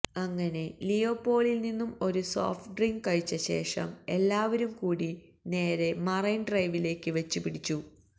അങ്ങിനെ ലിയോപോളില് നിന്നും ഒരു സോഫ്റ്റ് ഡ്രിങ്ക് കഴിച്ച ശേഷം എല്ലാവരും കൂടി നേരെ മറൈന് ഡ്രൈവിലേക്ക് വച്ച് പിടിച്ചു